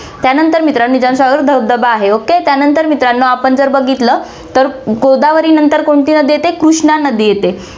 त्यानंतर मित्रांनो, निजामसागर धबधबा आहे, ok त्यानंतर मित्रांनो, आपण जर बघितलं तर गोदावरीनंतर कोणती नदी येते, कृष्णा नदी येते.